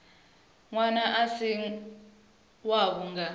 ṅwana a si wavho nga